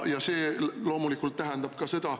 Ja see loomulikult tähendab ka seda …